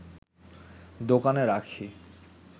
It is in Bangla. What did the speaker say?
দোকানে রাখি